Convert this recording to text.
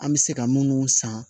An bɛ se ka minnu san